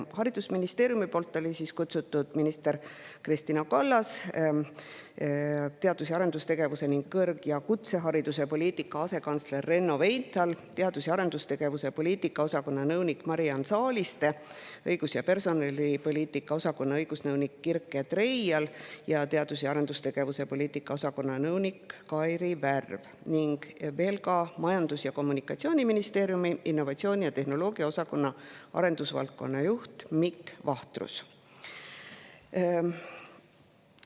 Haridusministeeriumist olid kutsutud minister Kristina Kallas, teadus- ja arendustegevuse ning kõrg- ja kutsehariduse poliitika asekantsler Renno Veinthal, teadus‑ ja arendustegevuse poliitika osakonna nõunik Mariann Saaliste, õigus‑ ja personalipoliitika osakonna õigusnõunik Kirke Treial ning teadus‑ ja arendustegevuse poliitika osakonna nõunik Kairi Värv, Majandus‑ ja Kommunikatsiooniministeeriumist innovatsiooni ja tehnoloogia osakonna arendusvaldkonna juht Mikk Vahtrus.